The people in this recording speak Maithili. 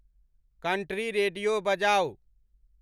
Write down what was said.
country radio बजाऊ